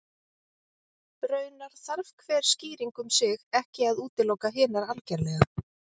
Raunar þarf hver skýring um sig ekki að útiloka hinar algerlega.